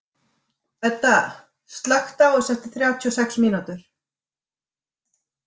Edda, slökktu á þessu eftir þrjátíu og sex mínútur.